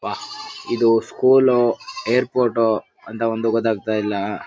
ವಾಹ್ ಇದು ಸ್ಕೂಲೋ ಏರ್ಪೋಟೊ ಅಂತ ಒಂದು ಗೂತ್ತಾಗತ್ತಾ ಇಲ್ಲಾ.